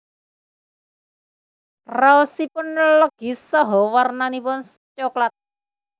Raosipun legi saha warnanipun soklat